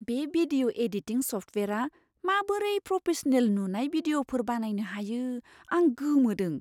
बे video editing सफ्टवेयारआ माबोरै प्रफेसनेल नुनाय भिडिय'फोर बानायनो हायो, आं गोमोदों।